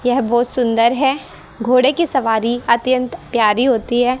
यह बहोत सुंदर है घोड़े की सवारी अत्यंत प्यारी होती है।